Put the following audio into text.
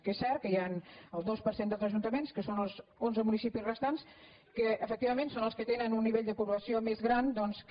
que és cert que hi ha el dos per cent dels ajuntaments que són els onze municipis restants que efectivament són els que tenen un nivell de població més gran doncs que